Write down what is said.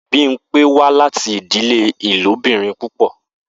Bimpe wa lati idile ilobirin pupọ.